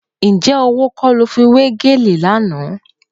Ǹjẹ́ owó kọ́ ló fi wé gèlè lánàá?